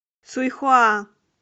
суйхуа